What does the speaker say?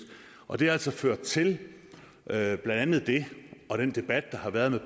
og det har altså ført til blandt andet det og den debat der har været med